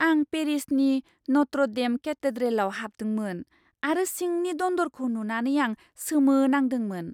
आं पेरिसनि Notre' Dame केथेड्रेलआव हाबदोंमोन, आरो सिंनि दन्दरखौ नुनानै आं सोमोनांदोंमोन।